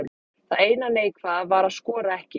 Það eina neikvæða var að skora ekki.